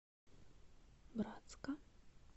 братска